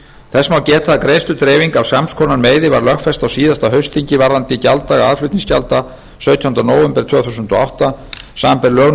þess má geta að greiðsludreifing af sams konar meiði var lögfest á síðasta haustþingi varðandi gjalddaga aðflutningsgjalda sautjánda nóvember tvö þúsund og átta samanber lög